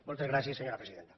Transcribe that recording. moltes gràcies senyor presidenta